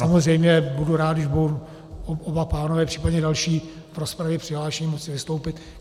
Samozřejmě budu rád, když budou oba pánové, případně další v rozpravě přihlášení, moci vystoupit.